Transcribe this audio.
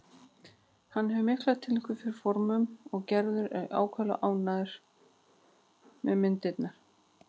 Hann hefur mikla tilfinningu fyrir formum og Gerður er ákaflega ánægð með myndirnar.